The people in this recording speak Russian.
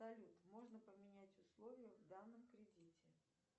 салют можно поменять условия в данном кредите